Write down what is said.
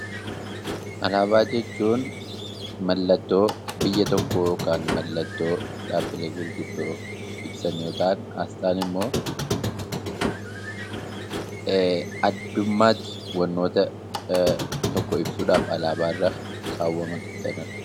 Alaabaa jechuun mallattoo biyya tokkoo yookaan mallattoo dhaabbilee gurguddoo ibsan yoo ta'an, asxaan immoo addummaatti wannoota tokko ibsuudhaaf alaabaa irra kaawwaman sana dha.